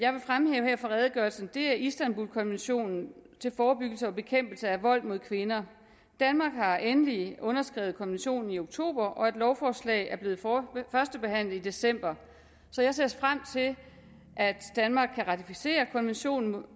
fremhæve fra redegørelsen er istanbulkonventionen til forebyggelse og bekæmpelse af vold mod kvinder danmark har endelig underskrevet konventionen i oktober og et lovforslag er blevet førstebehandlet i december så jeg ser frem til at danmark kan ratificere konventionen om